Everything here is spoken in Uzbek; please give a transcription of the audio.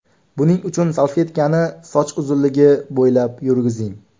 Buning uchun salfetkani soch uzunligi bo‘ylab yurgizing.